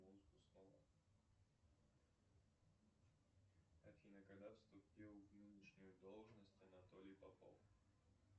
афина когда вступил в нынешнюю должность анатолий попов